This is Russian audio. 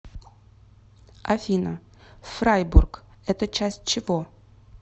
афина фрайбург это часть чего